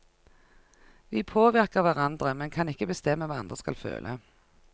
Vi påvirker hverandre, men kan ikke bestemme hva andre skal føle.